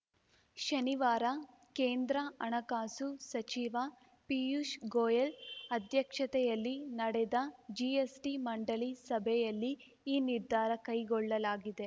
ಶನಿವಾರ ಕೇಂದ್ರ ಹಣಕಾಸು ಸಚಿವ ಪೀಯೂಷ್‌ ಗೋಯೆಲ್‌ ಅಧ್ಯಕ್ಷತೆಯಲ್ಲಿ ನಡೆದ ಜಿಎಸ್‌ಟಿ ಮಂಡಳಿ ಸಭೆಯಲ್ಲಿ ಈ ನಿರ್ಧಾರ ಕೈಗೊಳ್ಳಲಾಗಿದೆ